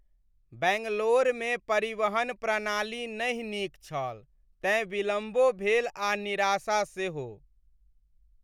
बैंगलोरमे परिवहन प्रणाली नहि नीक छल, तेँ विलम्बो भेल आ निराशा सेहो।